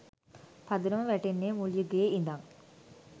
පදනම වැටෙන්නේ මුල් යුගයේ ඉඳන්